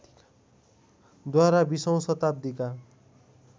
द्वारा बीसौँ शताब्दीका